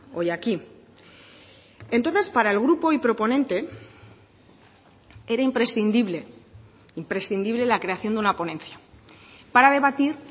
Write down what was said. hoy aquí entonces para el grupo hoy proponente era imprescindible imprescindible la creación de una ponencia para debatir